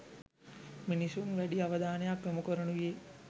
මිනිසුන් වැඩි අවධානයක් යොමු කරනුයේ